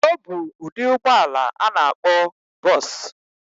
Obu udi ụgbọla ana akpo bus.